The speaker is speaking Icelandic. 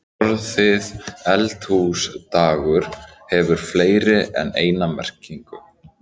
Orðið eldhúsdagur hefur fleiri en eina merkingu.